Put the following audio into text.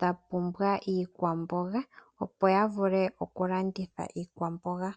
dha pumbwa iikwamboga, opo ya vule oku landitha iikwamboga.